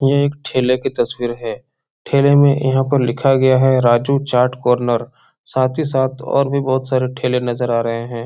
ये एक ठेले की तस्वीर है। ठेले में यहाँ पर लिखा गया है। राजू चाट कॉर्नर साथ ही साथ और भी बहोत सारे ठेले नजर आ रहे हैं।